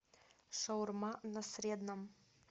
шаурма на средном